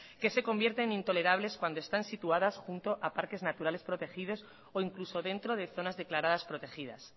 que se convierten en intolerables cuando están situadas junto a parques naturales protegidos o incluso dentro de zonas declaradas protegidas